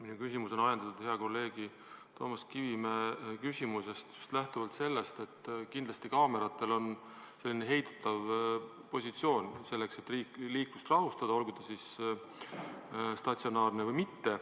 Minu küsimus on ajendatud hea kolleegi Toomas Kivimäe küsimusest lähtuvalt sellest, et kindlasti on kaameratel heidutav funktsioon, et liiklust rahustada, olgu nad siis statsionaarsed või mitte.